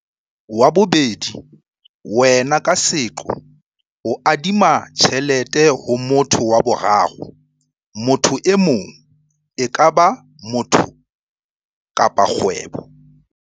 Wa bobedi, wena ka seqo o adima tjhelete ho motho wa boraro motho e mong - ekaba motho kapa kgwebo.